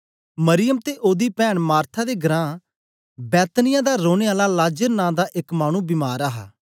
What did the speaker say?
मरियम ते ओदी पैन्न मार्था दे घरां बैतनिय्याह दा रौने आला लाजर नां दा एक मानु बीमार हा